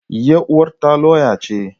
Yar uwata lauya ce.